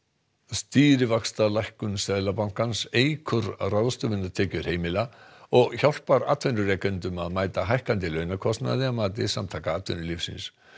stýrivaxtalækkun Seðlabankans eykur ráðstöfunartekjur heimila og hjálpar atvinnurekendum að mæta hækkandi launakostnaði að mati Samtaka atvinnulífsins